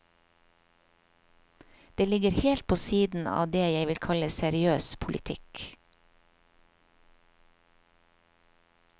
Det ligger helt på siden av det jeg vil kalle seriøs politikk.